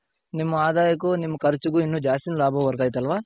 ನಿಮ್ ಆದಾಯಕ್ಕು ನಿಮ್ ಖರ್ಚ್ಗು ಇನ್ನ ಜಾಸ್ತಿ ಲಾಭ ಬರ್ತಾ ಇತ್ತಲ್ವ.